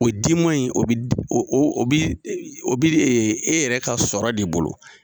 O di ma in o bi o o bi e yɛrɛ ka sɔrɔ de bolo.